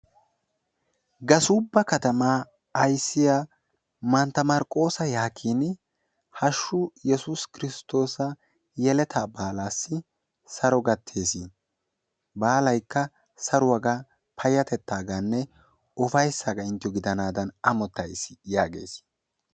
Gasuubba katamaa ayssiya mantta marqqoosa yaagin hashshu yesuusa kiristtoosa yeletta baalassi saro gattees. Baalaykka saruwaaga, payyatettaganne upayssaga inttiyo gidaanadan ammottays yaagees.